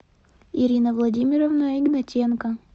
ирина владимировна игнатенко